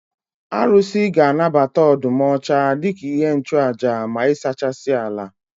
Arụsị ga anabata ọdụm ọcha dika ihe nchụaja ma ịsachasị ala